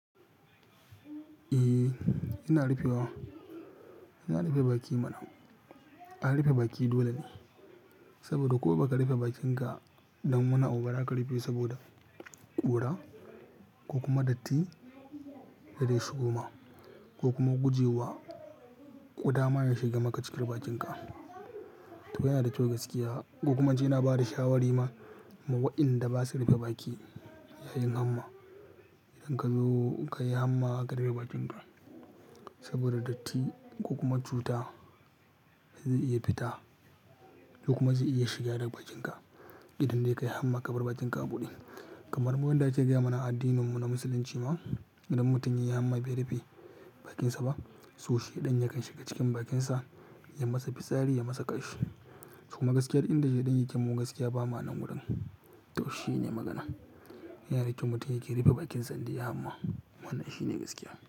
Eh, ina rufe wa. Ina rufe baki mana. A rufe baki dole ne, saboda ko baka rufe bakinka ba, dan wani abu ba zaka rufe saboda ƙura ko kuma datti da zai shigo ma, ko kuma guje wa ƙuda ma ya shiga maka cikin bakinka. To yana da kyau gaskiya, ko kuma jina bada shawari ma waɗanda ba su rufe baki yayin hamma. Idan kazo kayi hamma a karufe bakinka, saboda datti ko kuma cuta zai iya fita ko kuma zai iya shiga daga bakinka. Idan dai kayi hamma ka bar bakinka a buɗe. Kamar wanda yake gaya mana a addinin mu na musulunci ma, idan mutum ya yi hamma bai rufe bakinsa ba, so sheɗan yakan shiga cikin bakinsa ya masa fitsari ya masa kashi. Kuma gaskiya duk inda shaidan yake mu gaskiya ba ma wajen, to shine magana. Yana da kyau mutum yake rufe bakinsa indai ya yi hamma. Wannan shi ne gaskiya.